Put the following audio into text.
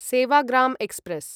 Sevagram express